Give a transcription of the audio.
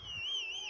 Qol!